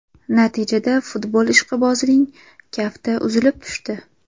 Natijada futbol ishqibozining kafti uzilib tushdi.